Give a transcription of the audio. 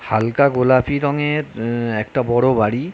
হালকা গোলাপী রঙের উমম একটা বড় বাড়ি।